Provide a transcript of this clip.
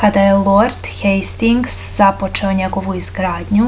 kada je lord hejstings započeo njegovu izgradnju